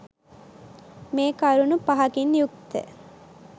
මේ කරුණු පහකින් යුක්ත